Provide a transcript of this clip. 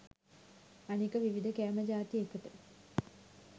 අනික විවිධ කෑම ජාතිඑකට